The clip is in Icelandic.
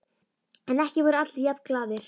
En ekki voru allir jafn glaðir.